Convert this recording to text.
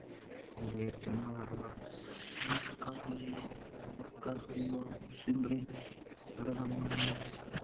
Á veturna var markaðurinn borgarbúa, á sumrin ferðamannanna.